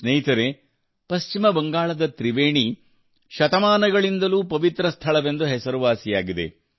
ಸ್ನೇಹಿತರೇ ಪಶ್ಚಿಮ ಬಂಗಾಳದ ತ್ರಿವೇಣಿ ಶತಮಾನಗಳಿಂದಲೂ ಪವಿತ್ರ ಸ್ಥಳವೆಂದು ಹೆಸರುವಾಸಿಯಾಗಿದೆ